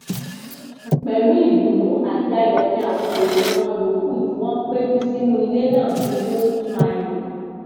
pẹlú ìdùnnú àti ayọ ni àwọn èèyàn wọn yòókù tí wọn péjú sínú ilé náà fi hó fún ayọ